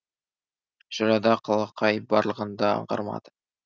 жырада қалақай барлығын да аңғармады